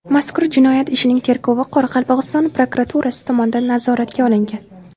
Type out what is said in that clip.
Mazkur jinoyat ishining tergovi Qoraqalpog‘iston prokuraturasi tomonidan nazoratga olingan.